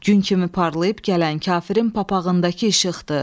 Gün kimi parlayıb gələn kafirin papağındakı işıqdır.